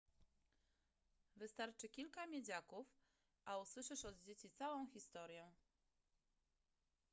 wystarczy kilka miedziaków a usłyszysz od dzieci całą historię